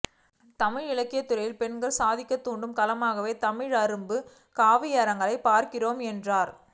தமிழ் இலக்கியத் துறையில் பெண்களை சாதிக்க தூண்டும் களமாகவே தமிழ் அரும்பு கவியரங்கை பார்க்கிறேன் என்றார்